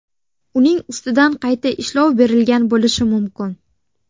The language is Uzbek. Uning ustidan qayta ishlov berilgan bo‘lishi mumkin.